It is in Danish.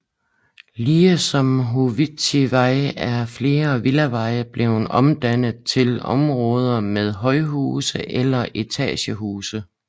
Ligesom Howitzvej er flere villaveje blevet omdannet til områder med højhuse eller etagehuse